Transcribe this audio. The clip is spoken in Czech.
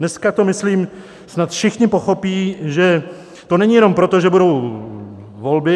Dneska to myslím snad všichni pochopí, že to není jenom proto, že budou volby.